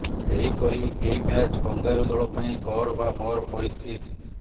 ସେହିପରି ଏହି match kangaroo ଦଳ ପାଇଁ କର ବା ମର ପରିସ୍ଥିତି